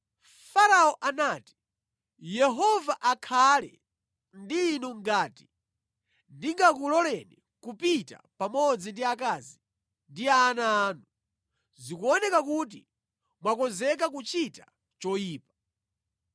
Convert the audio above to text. Farao anati, “Yehova akhale ndi inu ngati ndingakuloleni kupita pamodzi ndi akazi ndi ana anu! Zikuoneka kuti mwakonzeka kuchita choyipa.